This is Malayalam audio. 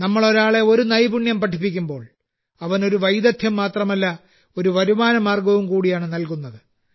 നമ്മൾ ഒരാളെ ഒരു നൈപുണ്യം സ്ക്കിൽ പഠിപ്പിക്കുമ്പോൾ അവന് ഒരു വൈദഗ്ദ്ധ്യം മാത്രമല്ല ഒരു വരുമാന മാർഗ്ഗവും കൂടിയാണ് നൽകുന്നത്